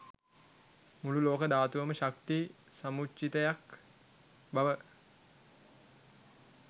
මුළු ලෝක ධාතුවම ශක්ති සමුච්චිතයක් බව